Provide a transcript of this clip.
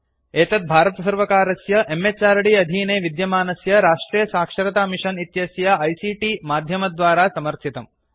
एतत् भारतसर्वकारस्य म्हृद् अधीने विद्यमानस्य राष्ट्रियसाक्षरतामिषन् इत्यस्य आईसीटी माध्यमद्वारा समर्थितम्